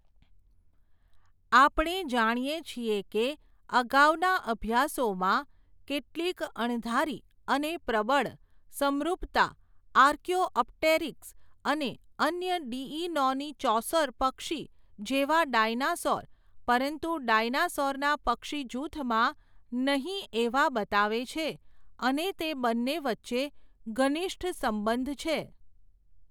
આપણે જાણીએ છીએ કે, અગાઉના અભ્યાસોમાં, કેટલીક અણધારી, અને પ્રબળ, સમરુપતા, આર્કીયોઅપટેરીક્સ, અને અન્ય ડીઈનોનીચોસૌર પક્ષી જેવા ડાયનાસોર, પરંતુ ડાયનાસૉરના પક્ષી જૂથમાં, નહીં એવા બતાવે છે, અને તે બન્ને વચ્ચે ઘનિષ્ઠ સંબંધ છે.